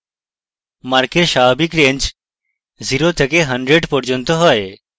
marks স্বাভাবিক range 0 থেকে 100 পর্যন্ত হয়